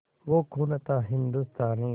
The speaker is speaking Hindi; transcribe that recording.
वो खून था हिंदुस्तानी